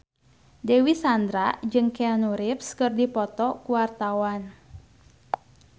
Dewi Sandra jeung Keanu Reeves keur dipoto ku wartawan